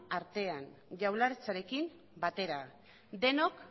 artean jaurlaritzarekin batera denok